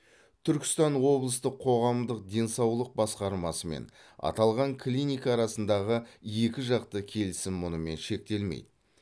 түркістан облыстық қоғамдық денсаулық басқармасы мен аталған клиника арасындағы екі жақты келісім мұнымен шектелмейді